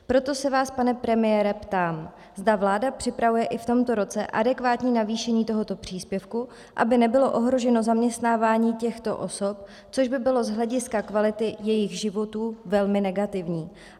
Proto se vás, pane premiére, ptám, zda vláda připravuje i v tomto roce adekvátní navýšení tohoto příspěvku, aby nebylo ohroženo zaměstnávání těchto osob, což by bylo z hlediska kvality jejich životů velmi negativní.